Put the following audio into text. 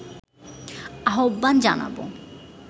আহ্বান জানাবো